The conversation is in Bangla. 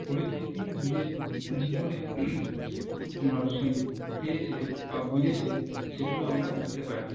পরিস্থিতি নিজের জিবনে ম এ সেই পেয়েছে বা বুঝেছে সেগুলো আমরা বুঝতে পারি